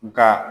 Nka